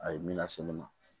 A ye min lase ne ma